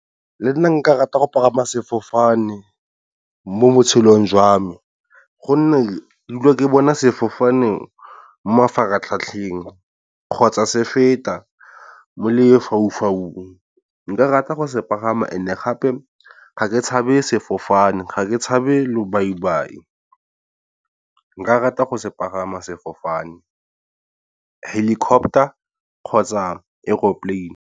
Le nna nka rata go pagama sefofane, mo botshelong jwa me gonne ke dula ke bona sefofane mo mafaratlhatlheng kgotsa se feta mo lefaufaung. Nka rata go se pagama and gape ga ke tshabe sefofane ga ke tshabe lobaibai. Nka rata go se pagama sefofane helicopter kgotsa aeroplane.